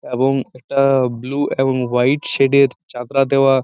এবং একটা ব্লু এবং হোয়াইট সেড এর ছাতরা দেওয়া।